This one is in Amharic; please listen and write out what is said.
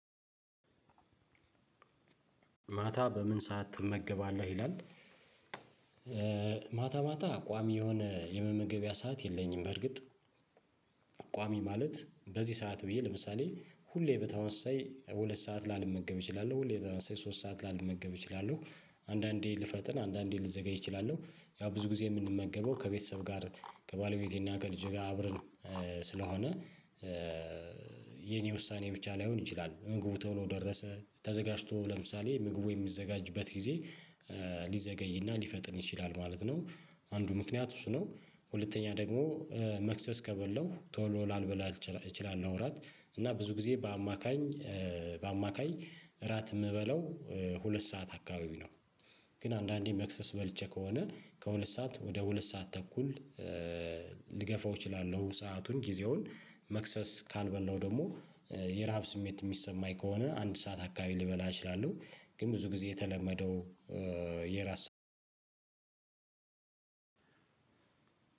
ማታ በምን ሰዓት ትመገባለህ ይላል? ማታ ማታ ቋሚ የሆነ የመመገቢያ ሰዓት የለኝም። በእርግጥ ቋሚ ማለት በዚህ ሰዓት ብዬ ለምሳሌ ሁሌ በተመሳሳይ ሁለት ሰዓት ላልመገብ እችላለሁ ሁሌ በተመሳሳይ ሶስት ሰዓት ላልመገብ እችላለሁ አንዳንዴ ልፈጥን አንዳንዴ ልዘገይ እችላለሁ ያው ብዙ ጊዜ የምንመገበው ከቤተሰብ ጋር ከባለቤቴና ከልጄ ጋር አብረን ስለሆነ የኔ ውሳኔ ብቻ ላይሆን ይችላል ምግቡ ቶሎ ደረሰ ተዘጋጅቶ ለምሳሌ ምግቡ የሚዘጋጅበት ጊዜ ሊዘገይና ሊፈጥን ይችላል ማለት ነው አንዱ ምክንያት እሱ ነው። ሁለተኛ ደግሞ መክሰስ ከበላው ቶሎ ላልበላ እችላለሁ እራት እና ብዙ ጊዜ በአማካኝ በአማካኝ እራት የምበላው ሁለት ሰዓት አካባቢ ነው። ግን አንዳንዴ መክሰስ በልቼ ከሆነ ከሁለት ሰዓት ወደ ሁለት ሰዓት ተኩል ልገፋው እችላለሁ ሰአቱን ጊዜውን መክሰስ ካልበላው ደግሞ የረሃብ ስሜት የሚሰማኝ ከሆነ አንድ ሰዓት አካባቢ ልበላ እችላለሁ ግን ብዙ ጊዜ የተለመደው የራስ